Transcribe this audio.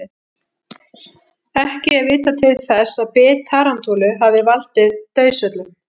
Ekki er vitað til þess að bit tarantúlu hafi valdið dauðsföllum.